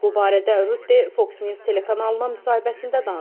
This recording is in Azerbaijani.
Bu barədə Rutte Fox News telekanalına müsahibəsində danışıb.